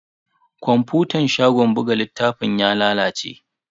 Kwafutan shagon buga littafin ya lalace.